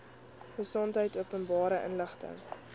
gesondheid openbare inligting